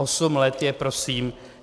Osm let je prosím...